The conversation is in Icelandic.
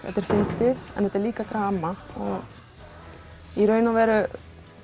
þetta er fyndið en líka drama og í raun og veru